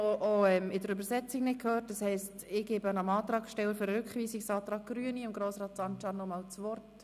Ich gebe dem Antragssteller, Grossrat Sancar, das Wort.